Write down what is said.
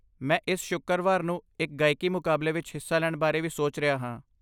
ਮੈਂ ਇਸ ਸ਼ੁੱਕਰਵਾਰ ਨੂੰ ਇੱਕ ਗਾਇਕੀ ਮੁਕਾਬਲੇ ਵਿੱਚ ਹਿੱਸਾ ਲੈਣ ਬਾਰੇ ਵੀ ਸੋਚ ਰਿਹਾ ਹਾਂ।